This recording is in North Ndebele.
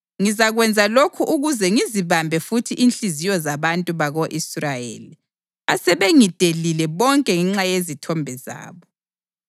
Ngizakwenza lokhu ukuze ngizibambe futhi inhliziyo zabantu bako-Israyeli asebengidelile bonke ngenxa yezithombe zabo.’